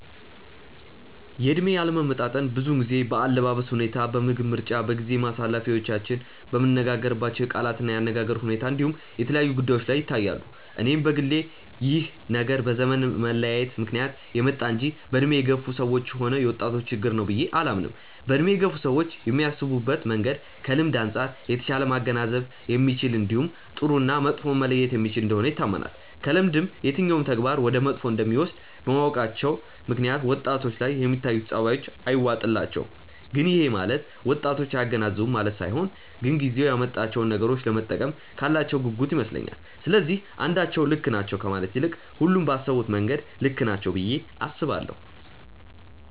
የእድሜ አለመጣጣም ብዙውን ጊዜ በአለባበስ ሁኔታ፣ በምግብ ምርጫ፣ በጊዜ ማሳለፊያዎቻችን፣ በምንነጋገርባቸው የቃላት እና የአነጋገር ሁኔታ እንዲሁም የተለያዩ ጉዳዮች ላይ ይታያሉ። እኔም በግሌ ይህ ነገር በዘመን መለያየት ምክንያት የመጣ እንጂ በእድሜ የገፋ ሰዎችም ሆነ የወጣቶች ችግር ነው ብዬ አላምንም። በእድሜ የገፉ ሰዎች የሚያስቡበት መንገድ ከልምድ አንጻር የተሻለ ማገናዘብ የሚችል እንዲሁም ጥሩ እና መጥፎውን መለየት የሚችል እንደሆነ ይታመናል። ከልምድም የትኛው ተግባር ወደ መጥፎ እንደሚወስድ በማወቃቸው ምክንያት ወጣቶች ላይ የሚታዩት ጸባዮች አይዋጡላቸውም። ግን ይሄ ማለት ወጣቶች አያገናዝቡም ማለት ሳይሆን ግን ጊዜው ያመጣቸውን ነገሮች ለመጠቀም ካላቸው ጉጉት ይመስለኛል። ስለዚህ አንዳቸው ልክ ናቸው ከማለት ይልቅ ሁሉም ባሰቡበት መንገድ ልክ ናቸው ብዬ አስባለሁ።